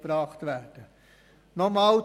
Das ist unsere Meinung.